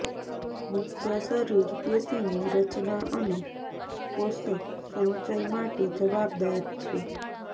મુખ્ય શરીર પેશીની રચના અને પોષક સંચય માટે જવાબદાર છે